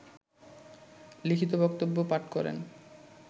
লিখিত বক্তব্য পাঠ করেন